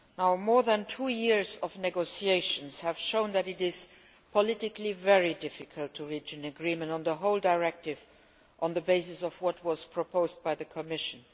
Over two years of negotiations have shown that it is politically very difficult to reach an agreement on the whole directive on the basis of what was proposed by the Commission.